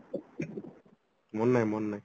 ମନେ ନାହିଁ ମନେ ନାହିଁ